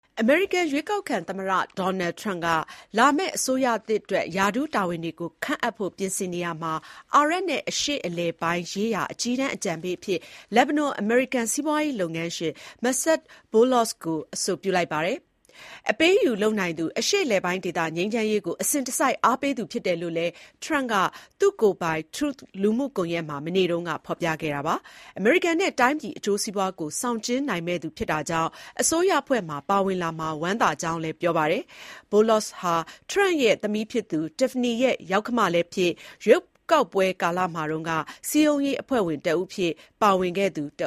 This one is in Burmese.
အမေရိကန် ရွေးကောက်ခံသမ္မတ Donald Trump က လာမယ့်အစိုးရသစ်အတွက် ရာထူးတာဝန်တွေ ခန့်အပ်ဖို့ ပြင်ဆင်နေရာမှာ အာရပ်နဲ့ အရှေ့အလယ်ပိုင်းရေးရာ အကြီးတန်းအကြံပေးအဖြစ် လက်ဘနွန်-အမေရိကန် စီးပွားရေး လုပ်ငန်းရှင် Massad Boulos ကို အဆိုပြုလိုက်ပါတယ်။ အပေးအယူ လုပ်နိုင်သူ၊ အရှေ့အလယ်ပိုင်းဒေသ ငြိမ်းချမ်းရေးကို အစဉ်တစိုက် အားပေးသူ ဖြစ်တယ်လို့လည်း ထရမ့်က သူ့ကိုယ်ပိုင် Truth လူမှုကွန်ရက်မှာ မနေ့တုန်းကပဲ ဖော်ပြခဲ့တာပါ။ အမေရိကန်နဲ့ တိုင်းပြည်အကျိုးစီးပွားကို ဆောင်ကျဉ်းနိုင်မယ့်သူ ဖြစ်တာကြောင့် အစိုးရအဖွဲ့မှာ ပါဝင်လာမှာ ဝမ်းသာကြောင်းလည်း ပြောပါတယ်။ Boulos ဟာ ထရမ့်ရဲ့ သမီးဖြစ်သူ Tiffany ရဲ့ ယောက္ခမလည်းဖြစ် ရွေးကောက်ပွဲကာလမှာတုန်းက စည်းရုံးရေး အဖွဲ့ဝင်တဦးအဖြစ် ပါဝင်ခဲ့သူတ